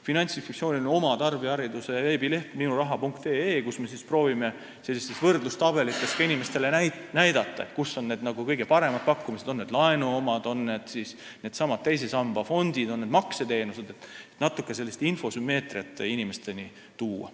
Finantsinspektsioonil on oma tarbijahariduse veebileht minuraha.ee, kus me proovime inimestele võrdlustabelite abil näidata, kus on paremad pakkumised, laenu-, teise samba fondide või makseteenusete pakkumised, et natuke infosümmeetriat inimesteni tuua.